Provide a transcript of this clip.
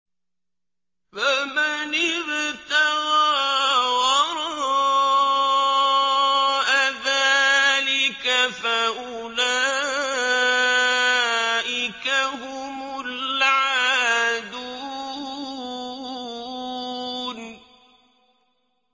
فَمَنِ ابْتَغَىٰ وَرَاءَ ذَٰلِكَ فَأُولَٰئِكَ هُمُ الْعَادُونَ